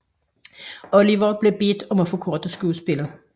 Olivier bliver bedt om at forkorte skuespillet